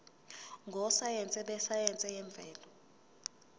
ngososayense besayense yemvelo